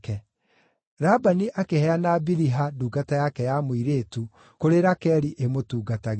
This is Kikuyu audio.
Labani akĩheana Biliha, ndungata yake ya mũirĩtu, kũrĩ Rakeli ĩmũtungatagĩre.